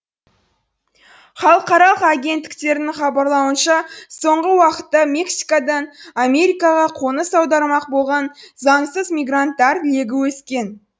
халықаралық агенттіктердің хабарлауынша соңғы уақытта мексикадан америкаға қоныс аудармақ болған заңсыз мигранттар легі өскен